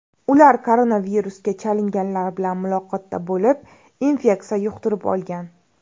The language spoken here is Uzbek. Ular koronavirusga chalinganlar bilan muloqotda bo‘lib, infeksiya yuqtirib olgan.